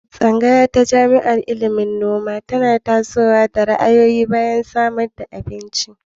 Tsangaya ta jami'a na ilimin noma na tasowa da ra'ayoyi a'goyon bayan samad da abinci.